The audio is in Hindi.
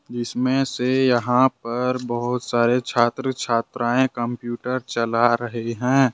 जिसमे से यहां पर बहुत ही छात्र छात्राएं कंप्यूटर चला रहे हैं।